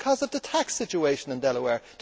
Because of the tax situation in Delaware.